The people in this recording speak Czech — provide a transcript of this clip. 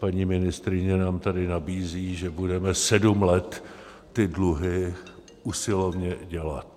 Paní ministryně nám tady nabízí, že budeme sedm let ty dluhy usilovně dělat.